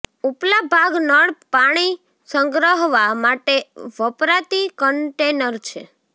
ઉપલા ભાગ નળ પાણી સંગ્રહવા માટે વપરાતી કન્ટેનર છે